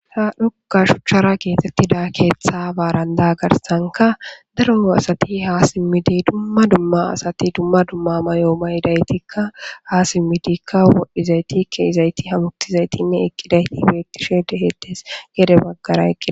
ha dhoqa shuchchara keetettida keeththa baaranda garsanka daroo asati haa simmidi dumma dumma asati dumma dumma mayoo ma yidaytikka ha simmidikka wodhdhizayti keizayti hamutizaytinne eqqidayti beektishe dehetes gede baggara eqqid